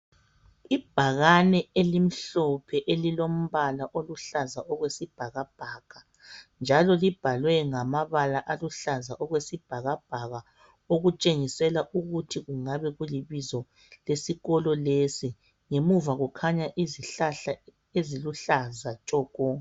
Ibhakane elimhlophe elilombala oluhlaza okwesibhakabhaka njalo libhalwe ngamabala aluhlaza okwesibhakabhaka okutshengisela ukuthi kungabe kulibizo lesikolo lesi , ngemuva kukhanya izihlahla eziluhlaza tshoko